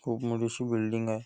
खूप मोठी अशी बिल्डिंग आहे.